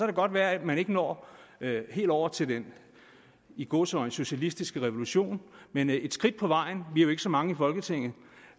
det godt være at man ikke når helt over til den i gåseøjne socialistiske revolution men et skridt på vejen vi er jo ikke så mange i folketinget